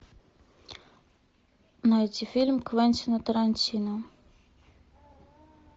найти фильм квентина тарантино